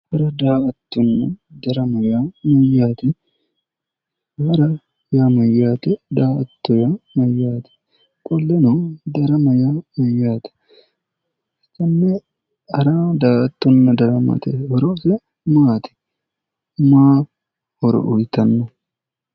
darama yaa mayyaate hara yaa mayyaate? daa''atto yaa mayyaate? qoleno darama yaa mayyaate? tenne hara darama woyi daa''attote horose maati? mayi horo uyitanno?